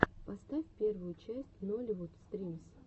поставь первую часть нолливуд стримс